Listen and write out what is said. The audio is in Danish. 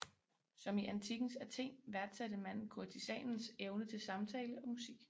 Som i antikkens Athen værdsatte man kurtisanens evne til samtale og musik